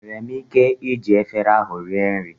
Enwere m ike iji efere ahụ rie nri?